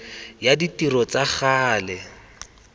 ya ditiro tsa ka gale